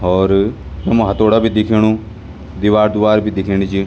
और उमा हतोडा बि दिखेणु दिवाल दुवाल बि दिखेणी च।